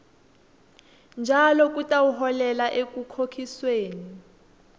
njalo kutawuholela ekukhokhisweni